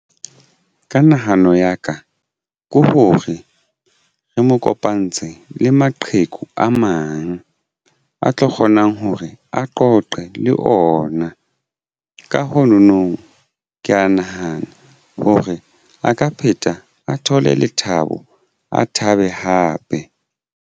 Ka nahano ya ka ke hore re mo kopantse le maqheku a mang a tlo kgonang hore a qoqe le ona. Ka ho nono ke ya nahana hore a ka pheta a thole lethabo a thabe hape.